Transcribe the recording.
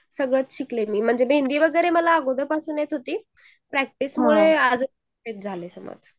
म्हणजे सगळंच शिकले मी मेहंदी वगैरे मला अशीपासून येत होती प्रॅक्टिस मुले परफेक्ट झाले समझ